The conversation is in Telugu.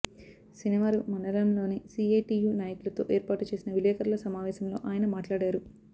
శనివారం మండలంలోని సిఐటియు నాయకులతో ఏర్పాటు చేసిన విలేకరుల సమావేశంలో ఆయన మాట్లాడారు